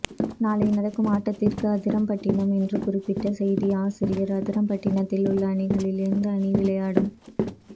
நாலை நடக்கும் ஆட்டத்திக் அதிராம்பட்டினம் என்று குறிப்பிட்ட செய்தி ஆசிரியர் அதிராம்பட்டினத்தில் உள்ள அணிகளில் எந்த அனி விளையாடும்